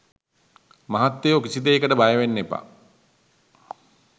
මහත්තයෝ කිසි දෙයකට බයවෙන්න එපා.